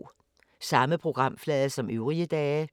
Samme programflade som øvrige dage